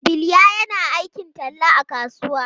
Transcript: Bilya yana aikin talla a kasuwa.